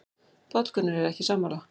Páll Gunnar er ekki sammála.